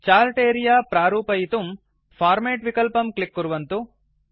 chart area प्रारूपयितुं format कर्तुं format विकल्पं क्लिक् कुर्वन्तु